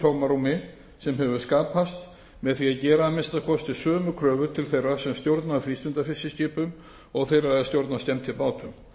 tómarúmi sem hefur skapast með því að gera að minnsta kosti sömu kröfur til þeirra sem stjórna frístundafiskiskipum og þeirra er stjórna skemmtibátum